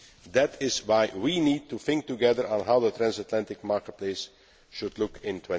That is why we need to think together about how the transatlantic marketplace should look